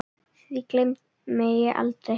Því gleymi ég aldrei.